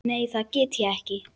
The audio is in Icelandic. Nei, það get ég ekki.